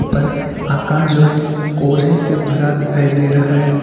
उपर आकाश जो है कोहरे से भरा दिखाई दे रहा है।